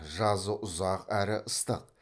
жазы ұзақ әрі ыстық